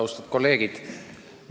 Austatud kolleegid!